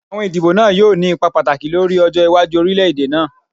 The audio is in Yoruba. Awọn idibo naa yoo ni ipa pataki lori ọjọ iwaju orilẹ-ede naa.